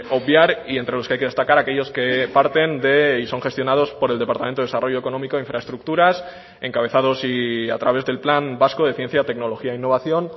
obviar y entre los que hay que destacar aquellos que parten de y son gestionados por el departamento de desarrollo económico e infraestructuras encabezados y a través del plan vasco de ciencia tecnología e innovación